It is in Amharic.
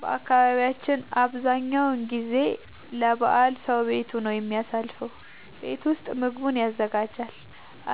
በአካባቢያችን አብዛኛው ጊዜ ለበዓል ሰዉ ቤቱ ነው የሚያሳልፈው። ቤት ውስጥ ምግቡን ያዘጋጃል፣